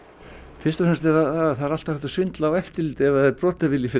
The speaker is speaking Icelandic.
fyrst og fremst er það það er alltaf hægt að svindla á eftirliti ef það er brotavilji fyrir